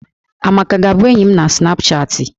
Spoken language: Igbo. Amaka ga-abụ enyi m na snapchatị?